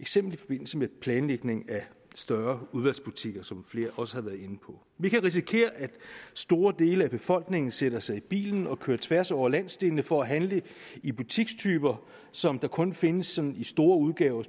eksempelvis i forbindelse med planlægningen af større udvalgsbutikker som flere også har været inde på vi kan risikere at store dele af befolkningen sætter sig i bilen og kører tværs over landsdelene for at handle i butikstyper som kun findes sådan i store udgaver